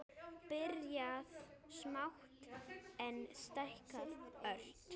Byrjað smátt, en stækkað ört.